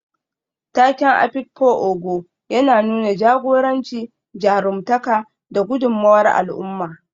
Taken Afikpo Ogo yana nuna jagoranci, jarumtaka, da gudummawar al'umma.